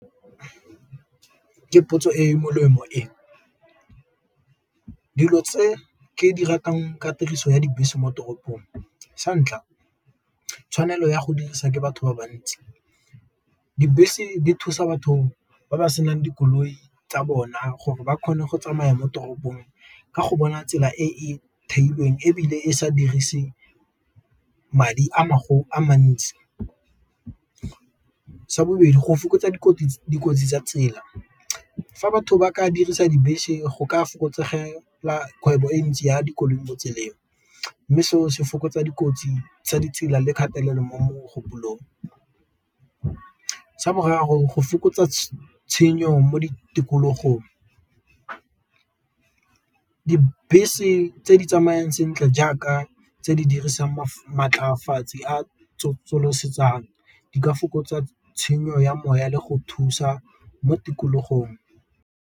Ke potso e melemo e, dilo tse ke di ratang ka tiriso ya dibese mo toropong santlha tshwanelo ya go dirisa ke batho ba bantsi, dibese di thusa batho ba ba senang dikoloi tsa bona gore ba kgone go tsamaya mo toropong ka go bona tsela e theilweng ebile e sa dirise madi a gago a mantsi. Sa bobedi go fokotsa dikotsi tsa tsela, fa batho ba ka dirisa dibese go ka fokotsegela kgwebo e ntsi ya dikoloi mo tseleng, mme seo se fokotsa dikotsi tsa ditsela le kgatelelo mo mogopolong. Sa bo raro gore go fokotsa tshenyo mo di tikologong, dibese tse di tsamayang sentle jaaka tse di dirisang di ka fokotsa tshenyo ya moya le go thusa mo tikologong.